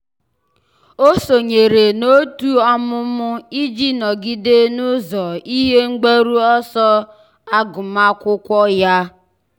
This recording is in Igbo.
ọ́ sònyèrè n’òtù ọ́mụ́mụ́ iji nọ́gídé n’ụ́zọ́ ihe mgbaru ọsọ agụmakwụkwọ ya.